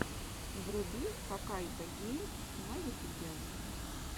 вруби хаккайдогеймс на ютубе